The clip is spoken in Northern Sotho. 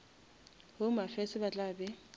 home affairs ba tla be